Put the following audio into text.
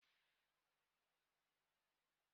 Gịnị bụ ọchịchị onye kwuo uche ya?